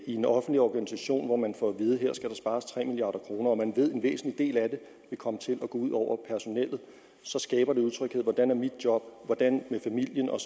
i en offentlig organisation og man får at vide at her skal der spares tre milliard kr og man ved at en væsentlig del af det vil komme til at gå ud over personellet så skaber det utryghed hvordan er mit job hvordan med familien og